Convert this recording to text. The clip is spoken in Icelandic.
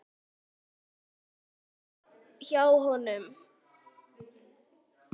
Mamma hans hjá honum.